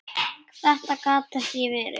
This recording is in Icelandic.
Þetta gat ekki verið.